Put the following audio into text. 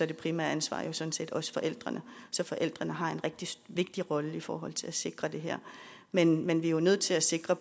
det primære ansvar jo sådan set også forældrenes så forældrene har en rigtig vigtig rolle i forhold til at sikre det her men men vi er jo nødt til at sikre